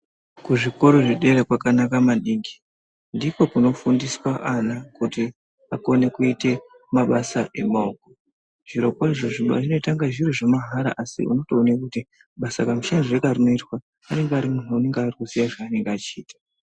Kuzvikoro zvedera kwanaka maningi. Ndiko kunofundiswa ana kuti akone kuite mabasa emaoko. Zvirokwazvo zvinoita inga zviro zvemahara asi unotone kuti basa kamushandirwe karinoitwa anenge ari munhu anenge ari kuziya zvaanonga echiita.